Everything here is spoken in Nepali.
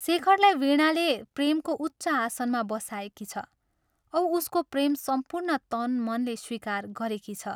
शेखरलाई वीणाले प्रेमको उच्च आसनमा बसाएकी छ औ उसको प्रेम सम्पूर्ण तनमनले स्वीकार गरेकी छ।